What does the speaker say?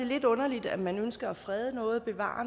lidt underligt at man ønsker at frede noget at bevare